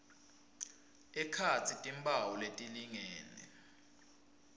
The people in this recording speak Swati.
ekhatsi timphawu letilingene